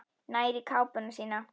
Nær í kápuna sína.